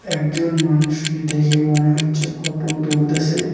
একজন মানুষকে দেখে মনে হচ্ছে ফটো তুলতেসে।